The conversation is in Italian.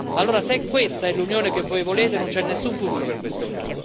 Allora, se questa è l'Unione che voi volete, non c'è nessun futuro per questa Unione.